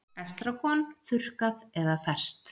Estragon, þurrkað eða ferskt